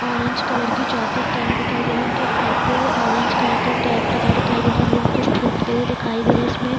Orange colour की jacket पहने दिखाई दे रहे। उनके सर पे ऑरेंज कलर का कैप लगा दिखाई दे रहा। लोंग कुछ ठोकते हुए दिखाई दे रहे इसमें।